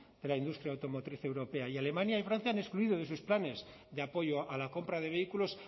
de la industria automotriz europea y alemania y francia han excluido de sus planes de apoyo a la compra de vehículos